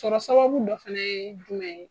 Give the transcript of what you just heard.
Sɔrɔ sababu dɔ fɛnɛ ye jumɛn ye